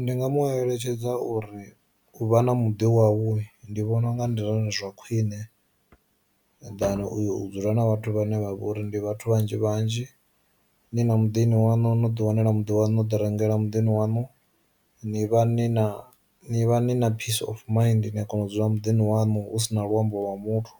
Ndi nga mu eletshedza uri u vha na muḓini wau ndi vhona unga ndi zwone zwa khwine ḓana uya u dzula na vhathu vhane vha vha uri ndi vhathu vhanzhi vhanzhi, ni na muḓini wanu no ḓi wanela muḓi wanu ḓi rengela muḓini wanu ni vha ni na ni vha ni na peace of miḓini a kona u dzula muḓini wanu hu si na luambo lwa muthu.